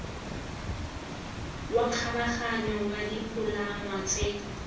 wa kgabaganyo wa dipalangwa tse